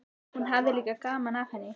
Hún hafði líka gaman af henni.